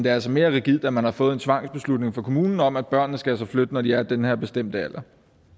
er altså mere rigidt at man har fået en tvangsbeslutning fra kommunen om at børnene skal flytte når de har nået den her bestemte alder